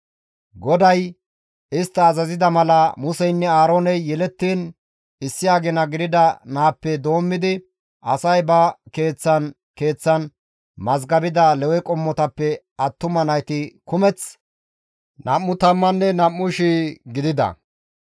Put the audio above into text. GODAY istta azazida mala Museynne Aarooney yelettiin issi agina gidida naappe doommidi asay ba keeththan keeththan mazgabida Lewe qommotappe attuma nayti kumeth 22,000 gidida.